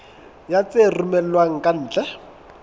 ya tse romellwang ka ntle